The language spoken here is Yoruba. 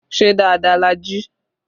Ṣé dáadáa la jí?